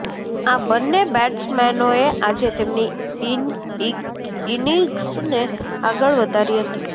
આ બન્ને બેટ્સમેનોએ આજે તેમની ઇનિગ્સને આગળ વધારી હતી